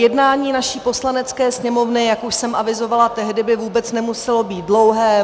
Jednání naší Poslanecké sněmovny, jak už jsem avizovala tehdy, by vůbec nemuselo být dlouhé.